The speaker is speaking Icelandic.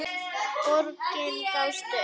Borgin gafst upp.